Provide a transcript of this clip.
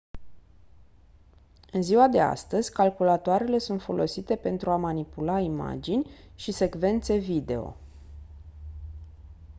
în ziua de astăzi calculatoarele sunt folosite pentru a manipula imagini și secvențe video